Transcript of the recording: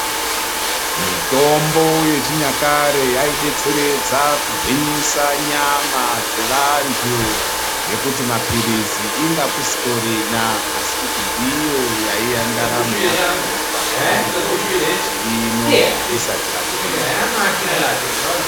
Mitombo yechinyakare yaidetseredza kugwiyisa nyama dzevantu ngekuti mapilizi inga kusitorina asi kuti ndiyo yaiya ndaramo yakona panguwa iyoyo pashi rino risati rabudirira.